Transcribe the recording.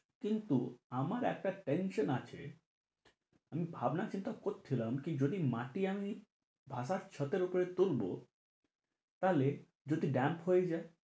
কিন্তু আমার একটা tension আছে আমি ভাবনা-চিন্তা করছিলাম কি, যদি মাটি আমি বাসার ছাঁদের উপর তুলবো তাহলে যদি damp হয়ে যাই।